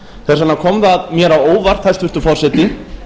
þess vegna kom það mér á óvart hæstvirtur forseti